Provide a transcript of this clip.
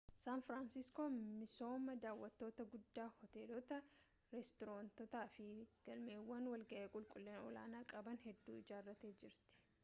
saan firaansiskoon misooma daawwattotaa guddaa hoteelota restoraantiiwwanii fi galmawwan walga'ii qulqullina olaanaa qaban hedduu ijaartee jirti